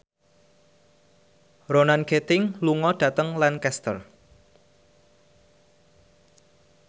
Ronan Keating lunga dhateng Lancaster